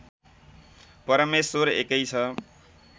परमेश्वर एकै छ